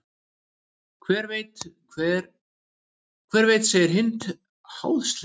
Hver veit segir Hind háðslega.